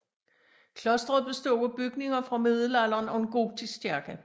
Klosteret bestod af bygninger fra middelalderen og en gotisk kirke